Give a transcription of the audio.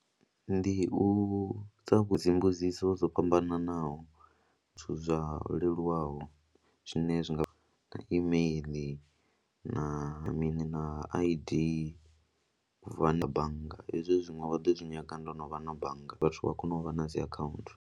Ndi u vhudzisa dzi mbudziso dzo fhambananaho, zwithu zwa leluwaho zwine zwi nga na email na mini na I_D u vula bannga, hezwi zwiṅwe vha ḓo zwi nyaga ndo no vha na bannga, vhathu vha kone u vha na dzi akhaunthu.